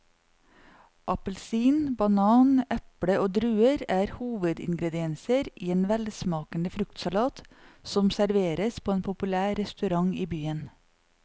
Appelsin, banan, eple og druer er hovedingredienser i en velsmakende fruktsalat som serveres på en populær restaurant i byen.